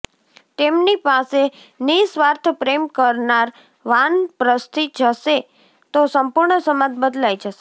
તેમની પાસે નિઃસ્વાર્થ પ્રેમ કરનાર વાનપ્રસ્થી જશે તો સંપૂર્ણ સમાજ બદલાઈ જશે